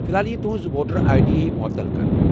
فلحال ییہِ تہنٛز ووٹر آے ڈی معتل كرنہٕ ۔